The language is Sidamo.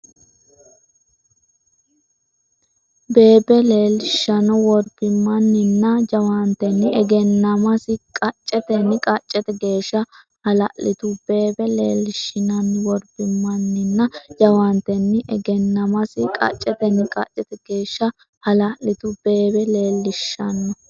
bebe leellishinno worbimmanninna jawaantenni egennamasi qaccetenni qaccete geeshsha hala’litu bebe leellishinno worbimmanninna jawaantenni egennamasi qaccetenni qaccete geeshsha hala’litu bebe leellishinno.